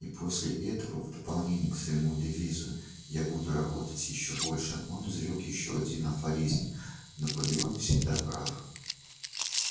и после этого в дополнение к своему девизу я буду работать ещё больше он изрёк ещё один афоризм наполеон всегда прав